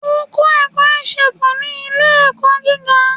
O kọ ẹkọ isègún ni ile-ẹkọ giga